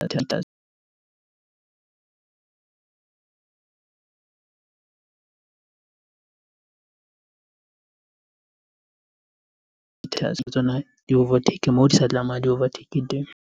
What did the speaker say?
ditekesi tsona di overtaker moo di sa tlameha di overtake teng